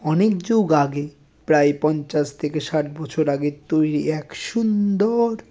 অনেক যুগ আগে প্রায় পঞ্চাশ থেকে ষাট বছর আগের তৈরি এক সুন্দর-অ --